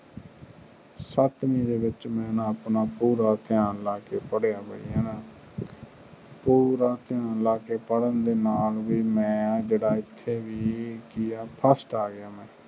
ਸੱਤਵੀ ਦੇ ਵਿਚ ਮੈਂ ਆਪਣਾ ਪੂਰਾ ਧਯਾਨ ਲੈ ਕ ਪੜ੍ਹਦਿਆਂ ਪੂਰਾ ਧਯਾਨ ਲੈ ਕੇ ਵੀ ਪੜ੍ਹਨ ਨਾਲ ਇੱਥੇ ਵੀ ਮੈਂ ਜਿਹਰਦਾ ਇੱਥੇ ਵੀ ਕਿ ਆ ਫਸਟ ਆ ਗਿਆ ਮੈਂ